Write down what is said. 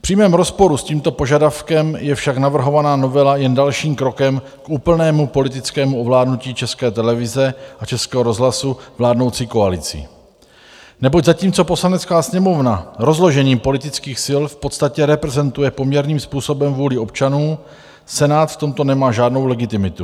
V přímém rozporu s tímto požadavkem je však navrhovaná novela jen dalším krokem k úplnému politickému ovládnutí České televize a Českého rozhlasu vládnoucí koalicí, neboť zatímco Poslanecká sněmovna rozložením politických sil v podstatě reprezentuje poměrným způsobem vůli občanů, Senát v tomto nemá žádnou legitimitu.